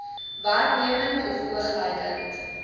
werknemer of oogluikend